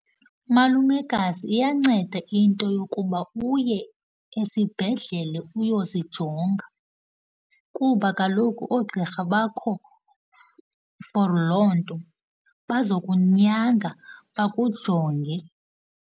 Malumekazi, iyanceda into yokuba uye esibhedlela uyozijonga kuba kaloku oogqirha bakho for loo nto. Bazokunyanga, bakujonge.